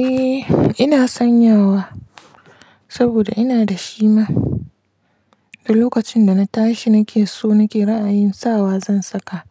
Eh ina sanyawa saboda ina da shi ma, lokacin da na tashi nake so nake ra'ayin sawa zan saka